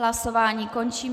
Hlasování končím.